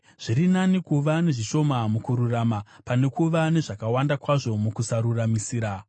Zviri nani kuva nezvishoma mukururama, pane kuva nezvakawanda kwazvo mukusaruramisira.